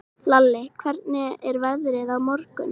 Lalli, hvernig er veðrið á morgun?